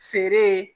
Feere